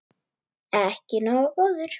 Ekki nógu góður!